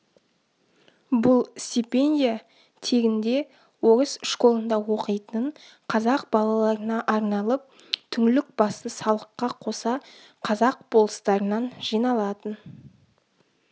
бұл стипендия тегінде орыс школында оқитын қазақ балаларына арналып түңлік басы салыққа қоса қазақ болыстарынан жиналатын